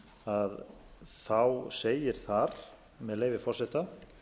að þá segir þar með leyfi forseta